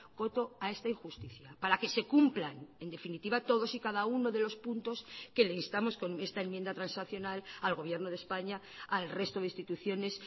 coto a esta injusticia para que se cumplan en definitiva todos y cada uno de los puntos que le instamos con esta enmienda transaccional al gobierno de españa al resto de instituciones